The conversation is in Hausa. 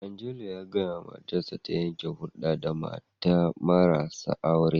Angelo ya gaya wa matarsa ta yanke hulda da mata marasa aure.